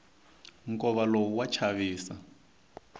nkova lowu wa chavisa